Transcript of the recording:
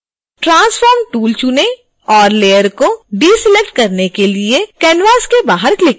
transform tool चुनें और layer को डीसेलेक्ट करने के लिए canvas के बाहर क्लिक करें